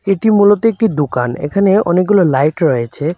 এটি মূলত একটি দোকান এখানে অনেকগুলো লাইট রয়েছে।